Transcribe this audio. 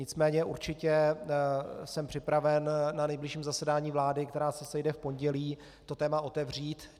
Nicméně určitě jsem připraven na nejbližším zasedání vlády, která se sejde v pondělí, to téma otevřít.